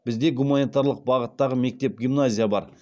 бізде гуманитарлық бағыттағы мектеп гимназия бар